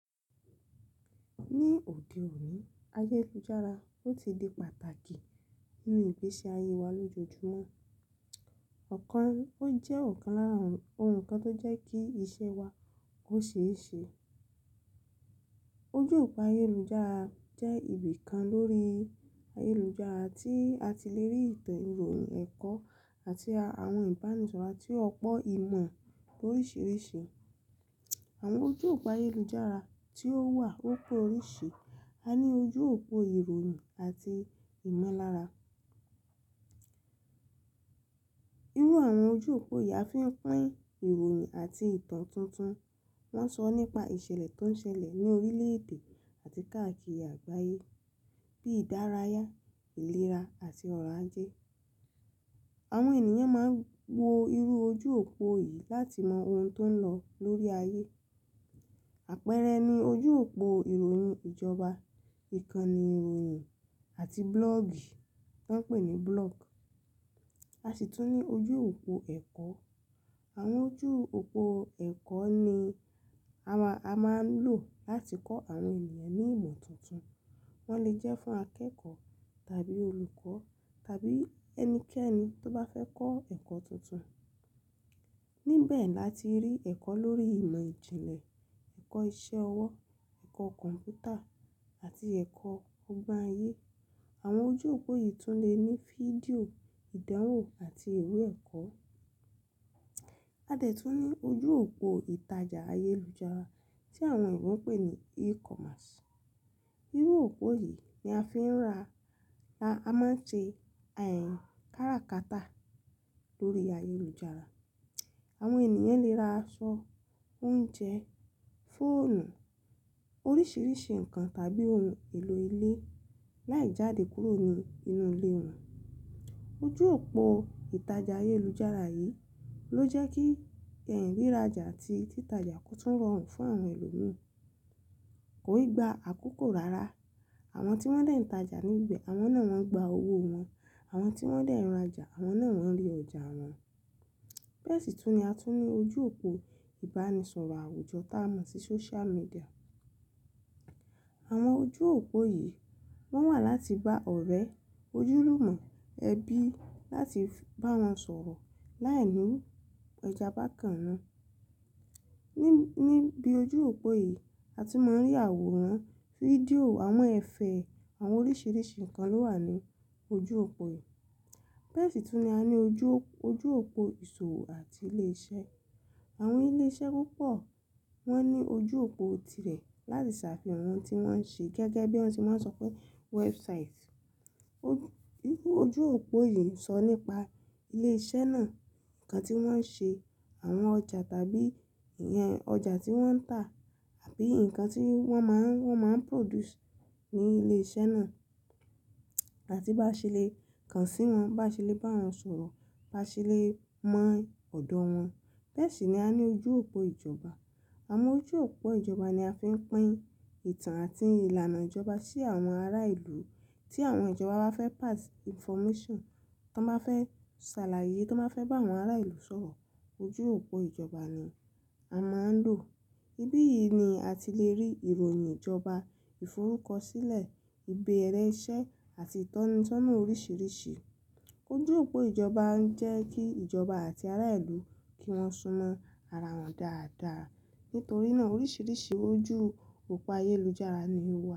Ní òde òní, ayélujára ó ti di pàtàkì nínú ìgbésí ayé wa lójoojúmọ́. Ọ̀kan, ó jẹ́ ọ̀kan lára oun kan tó jẹ́ kí iṣẹ́ wa ó ṣe é ṣe. Ojú òpó ayélujára jẹ́ ibi kan lórí ayélujára tí a ti le rí ìtàn ìròyìn, ẹ̀kọ́ àti àwọn ìbánisọ̀rọ̀ àti ọ̀pọ̀ ìmọ̀ oríṣìíríṣìí. Àwọn ojú òpó ayélujára tí ó wà ó pé oríṣìí, a ní ojú òpó ìròyìn àti ìmọ̀lára. Irú àwọn ojú òpó yìí á fi ń pín ìròyìn àti ìtàn tuntun. Wọ́n ń sọ nípa ìṣẹ̀lẹ̀ tó ń ṣẹlẹ̀ ní orílẹ̀ èdè àti káàkiri àgbáyé bíi ìdárayá, ìlera àti ọ̀ro ajé. Àwọn ènìyàn máa ń wo irú ojú òpó yìí láti mọ ohun tó ń lọ lórí ayé. Àpẹẹrẹ ni ojú òpó ìròyìn ìjọba, ìkànnì ìròyìn àti blogi tí wọ́n ń pè ní blog. A sì tún ní ojú òpó ẹ̀kọ́. Àwọn ojú òpó ẹ̀kọ́ ni a máà ń lò láti kọ́ àwọn ènìyàn ní ìmọ̀ tuntun. Wọ́n lè jẹ́ fún akẹ́kọ̀ọ́ tàbí olùkọ́ tàbí ẹnikẹ́ni tó bá fẹ́ kọ́ ẹ̀kọ́ tuntun. Ní bẹ̀ẹ̀ láti rí ẹ̀kọ́ lórí ìmọ̀ ìjìnlẹ̀, ẹ̀kọ́ iṣẹ́ ọwọ́, ẹ̀kọ́ kọ̀m̀pútà àti ẹ̀kọ́ ọgbon ayé. Àwọn ojú òpó yìí tún lè ní fídíò, ìdánwò àti iwé ẹ̀kọ́. A dàtú ní ojú òpó ìtajà ayélujára tí àwọn oyinbo ń pè ní e-commerce. Irú òpó yìí ni a fi ń ra, a máa ń ṣe ẹ́ń káràkátà lórí ayélujára. Àwọn ènìyàn lè ra aṣọ, oúnjẹ, fóònù, oríṣìíríṣìí nǹkan tàbí ohun èlò ilé láì jáde kúrò ní inú ilé wọn. Ojú òpó ìtajà ayélujára yìí ló jẹ́ kí ẹ̀ riraràjà àti títajà kó tún rọrùn fún àwọn ẹlòmíràn. Kò ì gba àkókò rárá. Àwọn tí wọ́n dà ìtajà níbẹ̀, àwọn náà wọ́n ń gba owó wọn. Àwọn tí wọ́n de n ràjà, àwọn náà wọ́n rí ọjà wọn. Bẹ́ẹ̀ sì tún ni a tún ní ojú òpó ìbánisọ̀rọ̀ àwùjọ tí a mọ̀ sí social media. Àwọn ojú òpó yìí wọ́n wà láti bá ọ̀rẹ́, ojúlùmọ̀, ẹbí láti bá wọn sọ̀rọ̀ láìní ọjà bákan náà. Ni, níbi ojú òpó yìí, a ti máa ń rí àwòrán, fídíò, àwọn ẹ̀fẹ̀, àwọn oríṣìíríṣìí nǹkan ló wà ní ojú òpó yìí. Bẹ́ẹ̀ sì tún ni a ní ojú, ojú òpó ìṣòwò àti ilé iṣẹ́. Àwọn ilé iṣẹ́ púpọ̀ wọ́n ní ojú òpó tirẹ̀ láti ṣàfihàn ohun tí wọ́n ń ṣe gẹ́gẹ́ bí wọ́n ti máa ń sọ pé website. Irú ojú òpó yìí ń sọ nípa ilé iṣẹ́ náà, nǹkan tí wọ́n ń ṣe, àwọn ọjà tàbí ìyẹn ọjà tí wọ́n ń tà àbí nǹkan tí wọ́n máa ń, wọ́n máa ń produce ní ilé iṣẹ́ náà. A ti bá ṣe lè kàn sí wọn, bá ṣe lè bá wọn sọ̀rọ̀, bá ṣe lè mọ ọ̀dọ̀ wọn. Bẹ́ẹ̀ sì ni a ní ojú òpó ìjọba. Àwọn ojú òpó ìjọba ni a fi ń pín ìtàn àti ìlànà ìjọba sí àwọn ará ìlú tí àwọn ìjọba bá fẹ́ pass information, tí wọ́n bá fẹ́ ṣàlàyé, tí wọ́n bá fẹ́ bá àwọn ará ìlú sọ̀rọ̀, ojú òpó ìjọba ni a máa ń lò. Ibi yìí ni a ti lè rí ìròyìn ìjọba, ìfọrúkọṣílẹ̀, ìbéèrè iṣẹ́ àti ìtọ́nisọ́nà oríṣìíríṣìí. Ojú òpó ìjọba ń jẹ́ kí ìjọba àti ará ìlú kí wọ́n sún mọ́ ara wọn dáadáa. Nítorí náà oríṣìíríṣìí ojú òpó ayélujára ni ó wà.